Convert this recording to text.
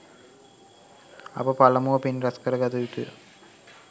අප පළමුව පින් රැස්කර ගත යුතුය.